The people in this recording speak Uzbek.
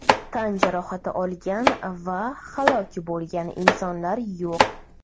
Tan jarohati olgan va halok bo‘lgan insonlar yo‘q.